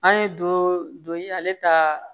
An ye don ye ale ta